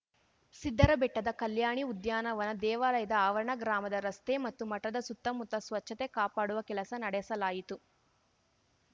ಸಿದ್ದರಬೆಟ್ಟದ ಕಲ್ಯಾಣಿ ಉದ್ಯಾನವನ ದೇವಾಲಯದ ಆವರಣ ಗ್ರಾಮದ ರಸ್ತೆ ಮತ್ತು ಮಠದ ಸುತ್ತಮುತ್ತ ಸ್ವಚ್ಚತೆ ಕಾಪಾಡುವ ಕೆಲಸ ನಡೆಸಲಾಯಿತು